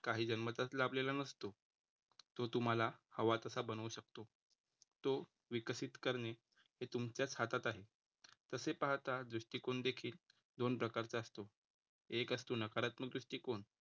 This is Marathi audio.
काही जन्मताच लाभलेला नसतो. तो तुम्हाला हवा तसा बनवू शकतो. तो विकसित करणे हे तुमच्याचं हातात आहे तसे पाहता दृष्टिकोन देखील दोन प्रकारचा असतो एक असतो नकारात्मक दृष्टीकोन